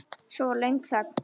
Svo var löng þögn.